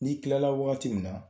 N'i tilala wagati min na